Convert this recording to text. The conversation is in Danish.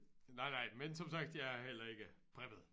Nej nej men som sagt jeg har heller ikke preppet